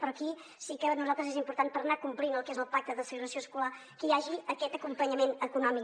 però aquí sí que per nosaltres és important per anar complint el que és el pacte de segregació escolar que hi hagi aquest acompanyament econòmic